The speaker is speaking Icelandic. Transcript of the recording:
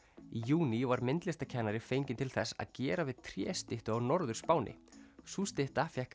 í júní var myndlistarkennari fenginn til þess að gera við tréstyttu á Norður Spáni sú stytta fékk